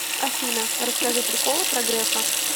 афина расскажи приколы про грефа